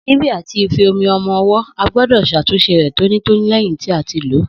Síbí àti ife omi ọmọ owó a gbódò ṣatunṣe rè tóní tóní lẹyìn tí a tí lo